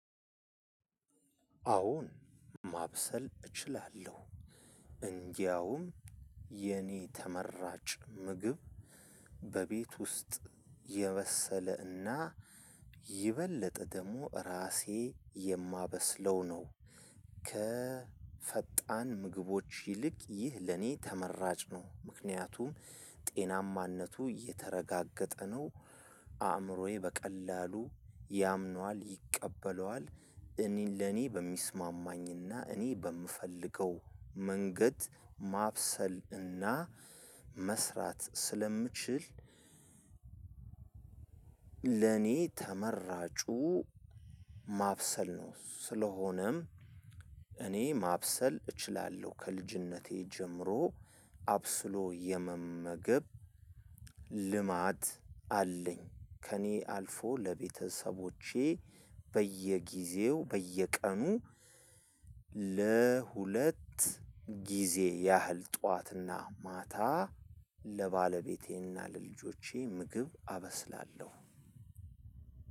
አሁን ማብሰል እችላለሁ እንዲያውም የኔ ተመራጭ ምግብ በቤት ውስጥ የበሰለና ይበልጥ ደግሞ ራሴ የማበስለው ነው። ከፈጣን ምግቦች ይልቅ ይህ ለኔ ተመራጭ ነው ምክንያቱም ጤናማነቱ እየተረጋገጠ ነው። አእምሮዬ በቀላሉ ያምነዋል ይቀበለዋል እኔን ለኔ በሚስማማኝና እኔ በምፈልገው መንገድ ማብሰልና መስራት ስለምችል። ለኔ ተመራጩ ማብሰል ነው። ስለሆነም እኔ ማብሰል እችላለሁ ከልጅነቴ ጀምሮ አብስሎ የመመገብ ልማድ አለኝ። ከኔ አልፎ ለቤተሰቦቸ በየጊዜው በየቀኑ ለሁለት ጊዜ ያህል ጠዋትና ማታ ለባለቤቴና ለልጆቼ ምግብ አበስላለሁ።